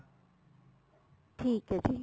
ਠੀਕ ਏ ਜੀ